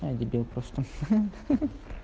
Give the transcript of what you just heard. а дебил просто ха-ха